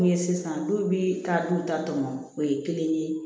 Min ye sisan du bi taa du ta tɔmɔ o ye kelen ye